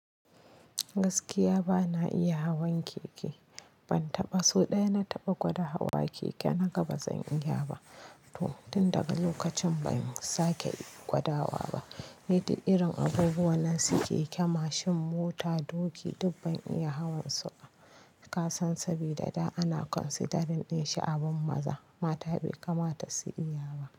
Gaskiya bana iya hawan keke. Ban taɓa, so ɗaya na taɓa gwada hawa keke na ga bazan iya ba. To tun daga lokacin ban sake gwadawa ba. Ni duk irin abubuwan nan su keke, mashin, mota, doki duk ban iya hawan su ba. Ka san sabida dan ana considering shi abin maza. Mata bai kamata su iya ba.